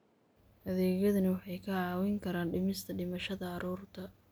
Adeegyadani waxay kaa caawin karaan dhimista dhimashada carruurta.